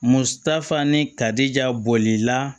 Mutafan ni tarija bɔli la